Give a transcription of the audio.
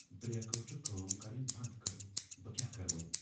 بریکو چھ کٲم کرٕنۍ بنٛد کٔرمٕژ ۔ بہٕ کیٛاہ کرٕ وۄنۍ ۔